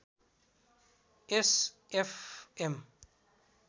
yes F am